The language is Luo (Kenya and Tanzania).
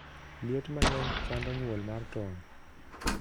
Liet mangeny chando nyuol mar tong